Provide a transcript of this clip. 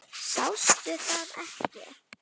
Sástu það ekki?